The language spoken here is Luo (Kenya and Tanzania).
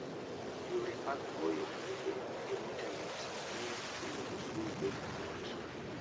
Yore mag goyo buge e intanet miyo chulo osuru bedo mayot.